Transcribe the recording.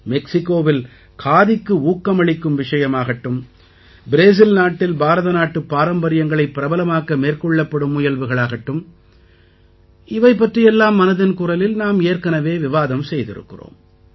மெக்சிகோவில் காதிக்கு ஊக்கமளிக்கும் விஷயமாகட்டும் பிரேசில் நாட்டில் பாரதநாட்டுப் பாரம்பரியங்களைப் பிரபலமாக்க மேற்கொள்ளப்படும் முயல்வுகளாகட்டும் இவை பற்றி எல்லாம் மனதின் குரலில் நாம் ஏற்கெனவே விவாதம் செய்திருக்கிறோம்